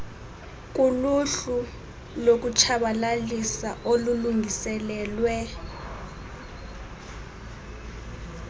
kuluhlu lokutshabalalisa olulungiselelwe